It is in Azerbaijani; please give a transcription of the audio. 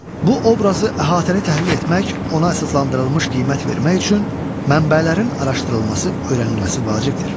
Bu obrazı əhatəli təhlil etmək, ona əsaslandırılmış qiymət vermək üçün mənbələrin araşdırılması, öyrənilməsi vacibdir.